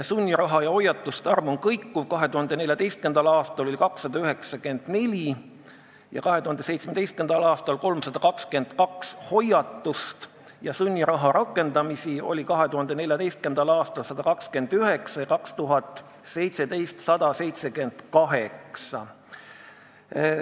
Sunniraha määramiste ja hoiatuste arv on kõikuv, 2014. aastal oli 294 ja 2017. aastal 322 hoiatust ning sunniraha rakendati 2014. aastal 129 ja 2017. aastal 178 korda.